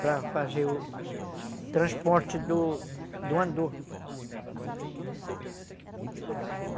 para fazer o transporte do andor.